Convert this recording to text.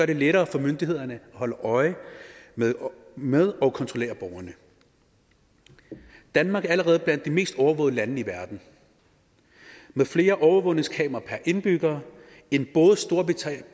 det lettere for myndighederne at holde øje med med og kontrollere borgerne danmark er allerede blandt de mest overvågede lande i verden med flere overvågningskameraer per indbygger end både storbritannien